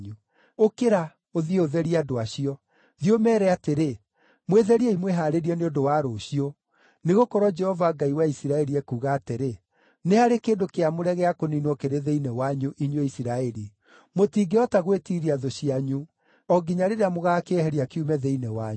“Ũkĩra, ũthiĩ ũtherie andũ acio. Thiĩ ũmeere atĩrĩ, ‘Mwĩtheriei mwĩhaarĩrie nĩ ũndũ wa rũciũ; nĩgũkorwo Jehova Ngai wa Isiraeli ekuuga atĩrĩ: Nĩ harĩ kĩndũ kĩamũre gĩa kũniinwo kĩrĩ thĩinĩ wanyu, inyuĩ Isiraeli. Mũtingĩhota gwĩtiiria thũ cianyu o nginya rĩrĩa mũgaakĩeheria kiume thĩinĩ wanyu.